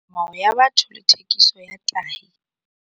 Metsamao ya batho le thekiso ya tahi.